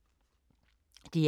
DR2